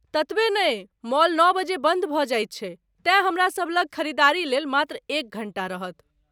ततबे नहि, मॉल नओ बजे बन्द भऽ जाइत छै, तेँ हमरा सब लग खरीददारी लेल मात्र एक घण्टा रहत।